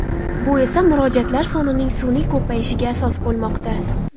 Bu esa murojaatlar sonining sun’iy ko‘payishiga asos bo‘lmoqda.